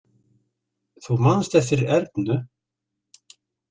Þú manst eftir Ernu?